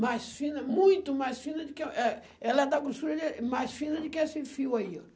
Mais fina, muito mais fina do que é, ela é da grossura de mais fina do que esse fio aí ó.